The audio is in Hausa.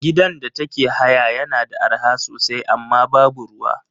Gidan da take haya yana da arha sosai amma babu ruwa.